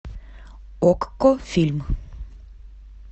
окко фильм